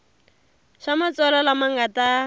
swa matsalwa lama nga ta